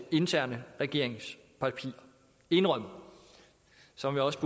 interne regeringspapirer indrømmet som jeg også